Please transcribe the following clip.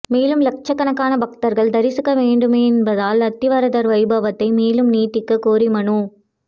மேலும் லட்சக்கணக்கான பக்தர்கள் தரிசிக்க வேண்டும என்பதால் அத்திவரதர் வைபவத்தை மேலும் நீட்டிக்க கோரி மனு